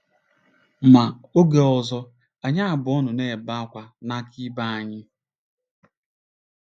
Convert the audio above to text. Ma, oge ọzọ anyị abụọ nọ na-ebe ákwá n'aka ibe anyị.